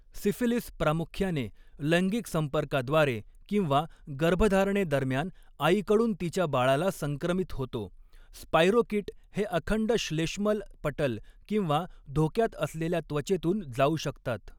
Syphilis प्रामुख्याने लैंगिक संपर्काद्वारे किंवा गर्भधारणेदरम्यान आईकडून तिच्या बाळाला संक्रमित होतो, स्पाइरोकीट हे अखंड श्लेष्मल पटल किंवा धोक्यात असलेल्या त्वचेतून जाऊ शकतात.